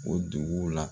O duguw la